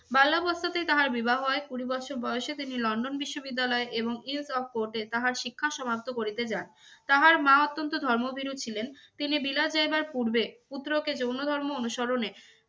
বাল্যবস্তাতেই তাহার বিবাহ হয়। কুড়ি বচ্ছর বয়সে তিনি লন্ডন বিশ্ববিদ্যালয়ে এবং তাহার শিক্ষা সমাপ্ত করিতে যান। তাহার মা অত্যন্ত ধর্মভীরু ছিলেন, তিনি বিলাত যাইবার পূর্বে পুত্রকে জৈন ধর্ম অনুসরণে